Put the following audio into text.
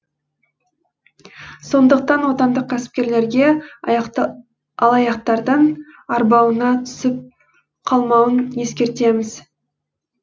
сондықтан отандық кәсіпкерлерге алаяқтардың арбауына түсіп қалмауын ескертеміз